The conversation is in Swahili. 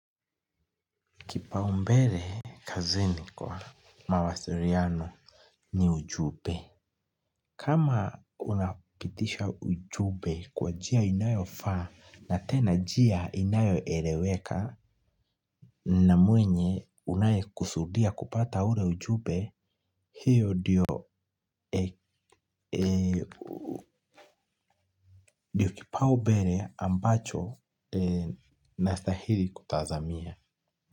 Kipaumbele kazini kwa mawasiliano ni ujumbe. Kama unapitisha ujumbe kwa njia inayofaa na tena njia inayoeleweka na mwenye unayekusudia kupata ule ujumbe, hiyo ndiyo kipaumbele ambacho nastahili kutazamia.